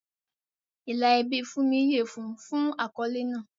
Ìlà ẹbí Funmi yẹ fún un fún àkọ́lé náà.